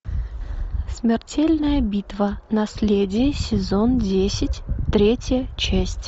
смертельная битва наследие сезон десять третья часть